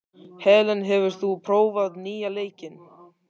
Helen, hefur þú prófað nýja leikinn?